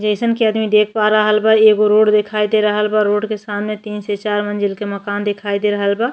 जईसन के आदमी देख पा रहल बा एगो रोड दिखाई दे रहल बा रोड के सामने तीन से चार मंज़िल के मकान दिखाई दे रहल बा।